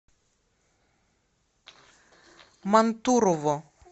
мантурово